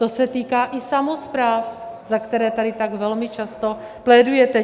To se týká i samospráv, za které tady tak velmi často plédujete.